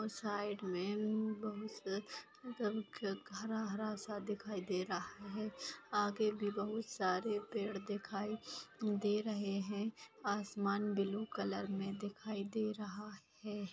और साइड में म-म-बहु स क-क हरा-हरा सा दिखाई दे रहा है आगे भी बहुत सारे पेड़ दिखाई दे रहे हैं आसमान ब्लू कलर में दिखाई दे रहा है।